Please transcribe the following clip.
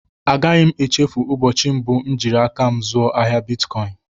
A gaghị m échéfu ụbọchị mbụ m jiri áká m zuo ahịa bịtkọin